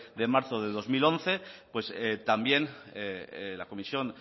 de marzo del dos mil once también la comisión